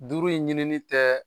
Duuru in ɲinini tɛ